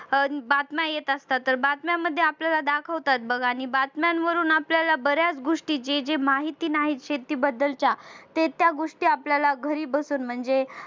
अह बातम्या येत असतात तर बातम्यांमध्ये आपल्याला दाखवतात बघा आणि बातम्यांवरून आपल्याला बऱ्याच गोष्टी जे जे माहिती नाही शेती बद्दलच्या हे त्या गोष्टी आपल्याला घरी बसून म्हणजे